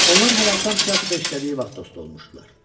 Onlar hələ atam teatrda işlədiyi vaxt dost olmuşdular.